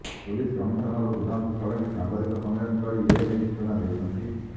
police commissioner Sudhanshu Shadangi ସାମ୍ୱାଦିକ ସମ୍ମିଳନୀ କରି ଏନେଇ ସୂଚନା ଦେଇଛନ୍ତି